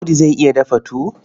Audu zai iya dafa tuwo?